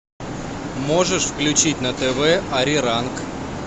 можешь включить на тв ариранг